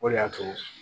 O de y'a to